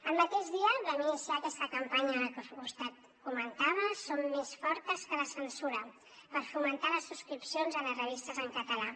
el mateix dia vam iniciar aquesta campanya que vostè comentava som més fortes que la censura per fomentar les subscripcions a les revistes en català